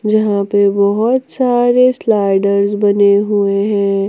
जहां पे बहुत सारे स्लाइड्स बने हुए हैं।